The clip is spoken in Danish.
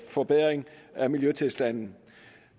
forbedring af miljøtilstanden